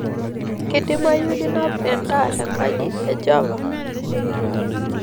keidimayu ninap endaa te enkaji e Java